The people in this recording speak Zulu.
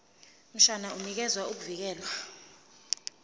mshwana unikeza ukuvikelwa